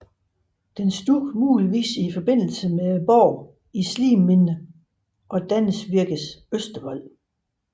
Den stod muligvis i forbindelse med borgen i Sliminde og Danevirkes østervold